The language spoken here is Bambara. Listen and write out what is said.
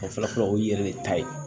O fɔlɔ fɔlɔ o ye yɛrɛ de ta ye